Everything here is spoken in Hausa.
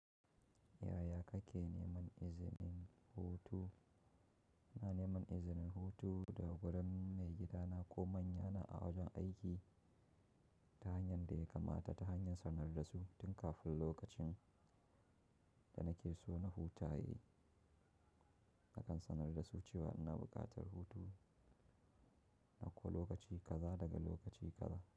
Yaya kake neman izinin hutu? Ina neman izinin hutu daga wurin maigidana ko manyana a wajen aiki ta hanya da yakamata tahanyan sanar dasu tun kafin lokacin da nake so na huta yayi. Nakan sanar da su cewa ina buƙatar hutu na ko lokaci gaza daga lokaci gaza.